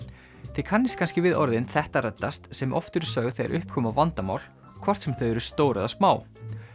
þið kannist kannski við orðin þetta reddast sem oft eru sögð þegar upp koma vandamál hvort sem þau eru stór eða smá